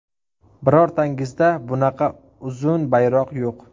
Birortangizda bunaqa uzun bayroq yo‘q.